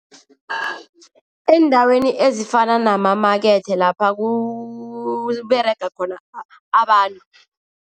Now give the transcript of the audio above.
Eendaweni ezifana namamakethe lapha kuberega khona abantu.